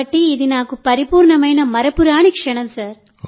కాబట్టి ఇది నాకు పరిపూర్ణమైన మరపురాని క్షణం